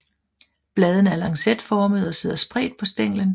Bladene er lancetformede og sidder spredt på stænglen